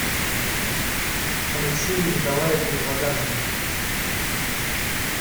алексею николаевне вагановой